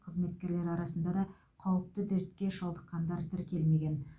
қызметкерлер арасында да қауіпті дертке шалдыққандар тіркелмеген